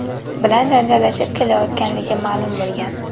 bilan janjallashib kelayotganligi ma’lum bo‘lgan.